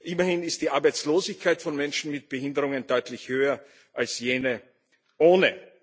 Immerhin ist die Arbeitslosigkeit von Menschen mit Behinderungen deutlich höher als jene ohne.